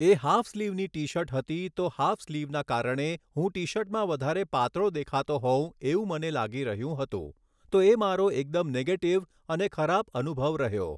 એ half સ્લીવની T shirt હતી તો હાફ સ્લીવના કારણે હું ટી શર્ટમાં વધારે પાતળો દેખાતો હોઉં એવું મને લાગી રહ્યું હતું તો એ મારો એકદમ નેગેટિવ અને ખરાબ અનુભવ રહ્યો